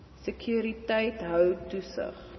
sekuriteit hou toesig